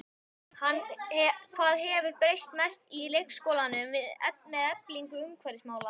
Hvað hefur breyst mest í leikskólanum með eflingu umhverfismála?